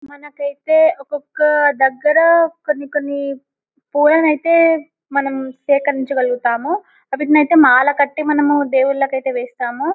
మనకైతే ఒక్కొక్క దగ్గర కొన్ని కొన్ని పూలనైతే మనం స్వీకరించుగలుగుతాము వాటిని ఐతే మాల కట్టి మనము దేవుల్లకైతే వేస్తాము.